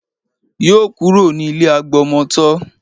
Yóò kúrò ní ilé agbọmọtọ́